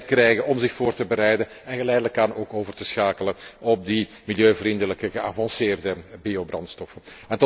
Zij krijgen tijd om zich voor te bereiden en geleidelijk aan ook over te schakelen op die milieuvriendelijke geavanceerde biobrandstoffen.